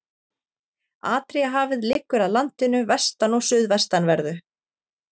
Adríahafið liggur að landinu vestan- og suðvestanverðu.